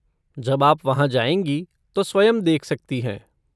जब आप वहाँ जाएंगी तो स्वयं देख सकती हैं।